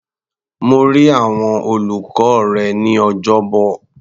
Mo rí àwọn olùkọ́ rẹ ní Ọjọ́bọ̀.